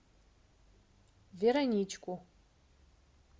вероничку